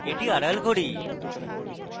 এটি আড়াল করি